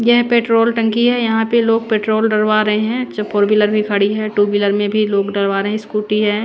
यह पेट्रोल टंकी है यहां पे लोग पेट्रोल डलवा रे हैं च फोर व्हीलर भी खड़ी है टू व्हीलर में भी लोग डलवा रे हैं स्कूटी है।